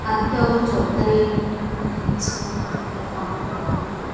ಅದ್ದಕ್ಕೆ ಅವರು ಜವಾಬ್ದಾರಿ ಯಾಗಿ ಒಂದು ಸ್ಕೂಲ್ ಅಂತ ಇದೆ ಮಕ್ಳುಗಳು ಹೋಗಿ --